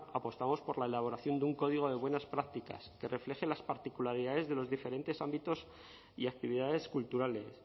apostamos por la elaboración de un código de buenas prácticas que refleje las particularidades de los diferentes ámbitos y actividades culturales